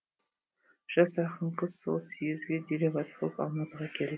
жас ақын қыз сол съезге делегат болып алматыға келді